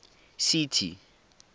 city